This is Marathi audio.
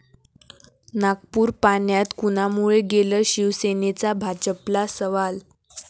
नागपूर पाण्यात कुणामुळे गेलं? शिवसेनेचा भाजपला सवाल